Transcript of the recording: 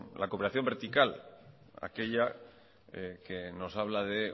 la cooperación vertical aquella que nos habla de